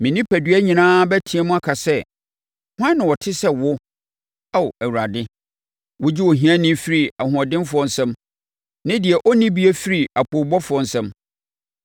Me onipadua nyinaa bɛteam aka sɛ, “Hwan na ɔte sɛ wo, Ao Awurade? Wogye ohiani firi ahoɔdenfoɔ nsam ne deɛ ɔnnibie firi apoobɔfoɔ nsam.”